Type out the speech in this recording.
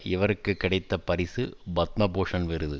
இவருக்கு கிடைத்த பரிசு பத்ம பூஷண் விருது